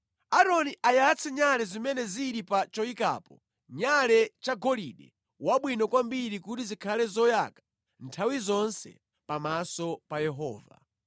Aaroni ayatse nyale zimene zili pa choyikapo nyale chagolide wabwino kwambiri kuti zikhale zoyaka nthawi zonse pamaso pa Yehova.